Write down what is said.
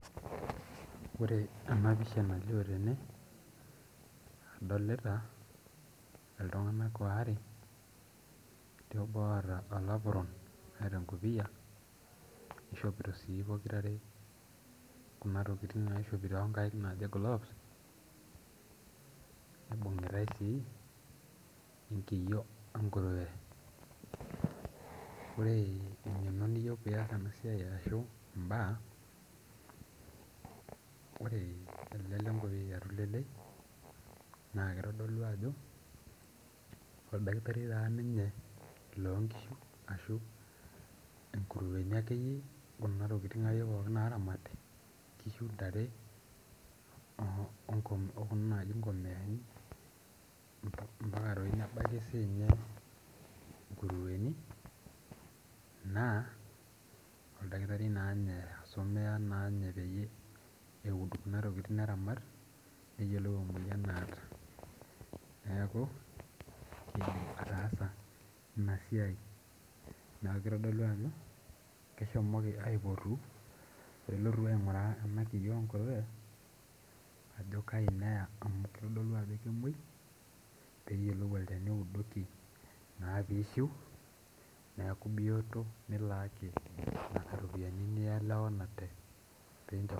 Ore ena pisha nalio tene adolita iltung'anak waare etii obo oota olapron neeta enkopiyia nishopito sii pokirare kuna tokitin naishopi tonkaik naaji gloves nibungitae sii enkiyio enkurue ore eng'eno niyieu piyas ena siai arashu imbaa ore ele lenkopiyia tulelei naa kitodolu ajo oldakitari taa ninye loonkishu ashu inkurueni akeyie kuna tokiting akeyie pookin naramati nkishu intare onko okuna naaji inkomiyani mpaka toi nebaiki siinye inkurueni naa oldakitari naa inye isomea naanye peyie eud kuna tokiting neramat neyiolou emoyian naata neeku keidim ataasa ina siai niaku kitodolu ajo keshomoki aipotu pelotu aing'uraa ena kiyio enkurue ajo kaji neya amu kitodolu ajo kemuoi pee eyiolou olchani oudoki naa piishiu neeku biyot nilaaki nana ropiyiani nielewanate.